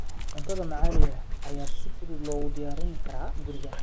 Cuntada maxaliga ah ayaa si fudud loogu diyaarin karaa guriga.